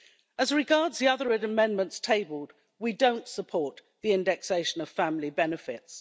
As regards the other amendments tabled, we don't support the indexation of family benefits.